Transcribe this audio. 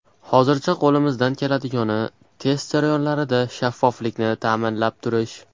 Hozircha qo‘limizdan keladigani, test jarayonlarida shaffoflikni ta’minlab turish.